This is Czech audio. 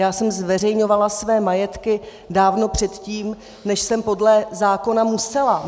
Já jsem zveřejňovala své majetky dávno předtím, než jsem podle zákona musela.